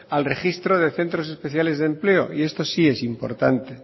al registro de centros especiales de empleo y esto sí es importante